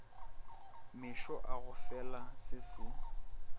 mešo e gofela se se